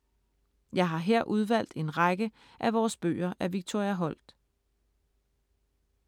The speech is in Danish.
Jeg har her udvalgt en række af vores bøger af Victoria Holt.